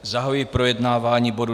Zahajuji projednávání bodu